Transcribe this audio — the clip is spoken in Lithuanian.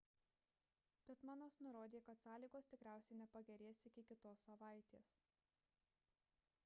pittmanas nurodė kad sąlygos tikriausiai nepagerės iki kitos savaitės